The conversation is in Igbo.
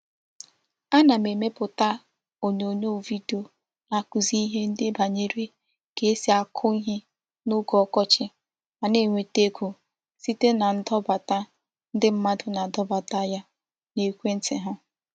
Ana m emeputa onyonyo video naakuzi ihe ndi banyere ka e si ako ihe n'oge okochi ma na-enweta ego site na ndobata ndi mmadu na-ado bata ya n'ekwe nti ha.